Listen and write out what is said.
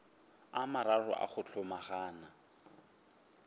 a mararo a go hlomagana